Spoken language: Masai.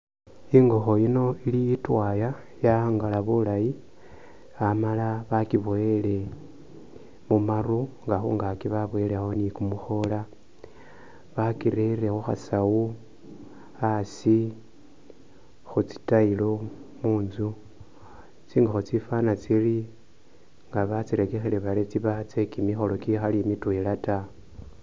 Ingokho yino ili itwaya ya'angala bulayi amala bakiboyile mu maru nga khungaaki baboyilekho ni kumukhoola, bakirere khu khasawu asi khu tsitile munzu, tsingokho tsifwana tsiri nga batsirekekhile bari tsiba tsye kimikholo kikhali mitwela ta.